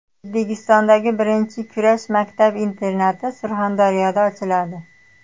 O‘zbekistondagi birinchi kurash maktab-internati Surxondaryoda ochiladi.